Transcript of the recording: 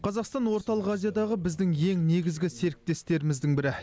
қазақстан орталық азиядағы біздің ең негізгі серіктестеріміздің бірі